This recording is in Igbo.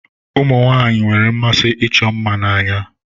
Ụmụ nwaanyị nwere mmasi ịchọ mma n'anya.